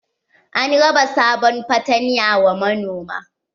An raba sabon fatanya wa manoma.